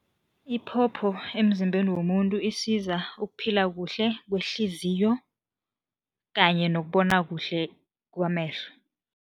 Iphopho emzimbeni womuntu isiza ukuphila kuhle kwehliziyo kanye nokubona kuhle kwamehlo.